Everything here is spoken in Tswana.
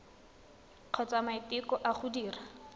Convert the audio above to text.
kgotsa maiteko a go dira